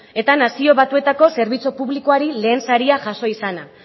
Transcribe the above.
eta nazio batuetako zerbitzu publikoari lehen saria jaso izana